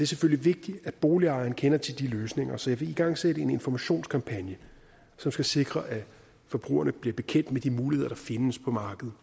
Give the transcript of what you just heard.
selvfølgelig vigtigt at boligejerne kender til de løsninger så jeg vil igangsætte en informationskampagne som skal sikre at forbrugerne bliver bekendt med de muligheder der findes på markedet